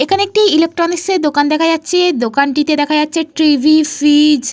এইখানে একটি ইলেকট্রনিক্স -এর দোকান দেখা যাচ্ছে। দোকানটিতে দেখা যাচ্ছে টি.ভি ফ্রীজ --